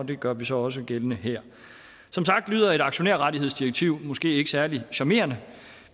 det gør vi så også gældende her som sagt lyder et aktionærrettighedsdirektiv måske ikke særlig charmerende